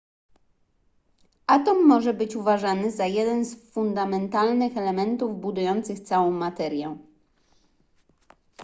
atom może być uważany za jeden z fundamentalnych elementów budujących całą materię